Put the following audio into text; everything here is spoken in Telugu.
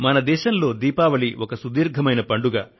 భారతదేశంలో దీపావళి ఒక సుదీర్ఘమైన పండుగ